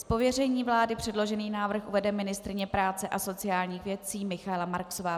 Z pověření vlády předložený návrh uvede ministryně práce a sociálních věcí Michaela Marksová.